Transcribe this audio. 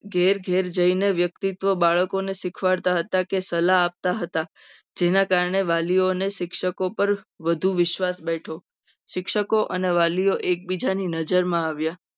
ઘેર ઘેર જઈને વ્યક્તિત્વ બાળકને બાળકોને શીખવાડતા હતા. કે સલાહ આપતા હતા જેના કારણે વાલીઓ અને શિક્ષકો ઉપર વધુ વિશ્વાસ બેઠો શિક્ષકો અને વાલીઓ એકબીજાની નજરમાં આવ્યા.